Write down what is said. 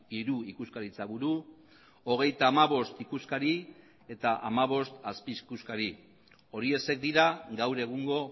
hiru ikuskaritza buru hogeita hamabost ikuskari eta hamabost azpi ikuskari horiexek dira gaur egungo